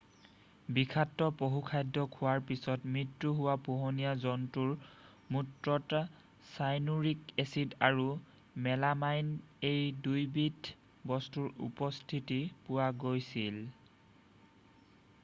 বিষাক্ত পশুখাদ্য খোৱাৰ পিছত মৃত্যু হোৱা পোহনীয়া জন্তুৰ মূত্ৰত চাইনুৰিক এচিড আৰু মেলামাইন এই দুয়োবিধ বস্তুৰ উপস্থিতি পোৱা গৈছিল